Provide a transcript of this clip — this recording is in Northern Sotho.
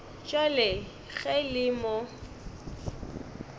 bjale ge e le mo